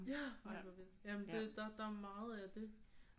Ja ej hvor vildt jamen det der er meget af det